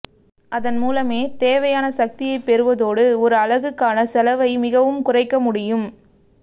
அதன் மூலமே தேவையான சக்தியைப் பெறுவதோடு ஒரு அலகுக்கான செலவை மிகவும் குறைக்க முடியும்